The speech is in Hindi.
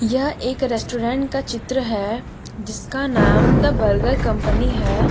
यह एक रेस्टोरेंट का चित्र है जिसका नाम द बर्गर कंपनी है।